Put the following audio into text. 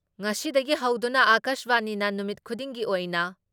ꯉꯁꯤꯗꯒꯤ ꯍꯧꯗꯨꯅ ꯑꯀꯥꯁꯕꯥꯅꯤꯅ ꯅꯨꯃꯤꯠ ꯈꯨꯗꯤꯡꯒꯤ ꯑꯣꯏꯅ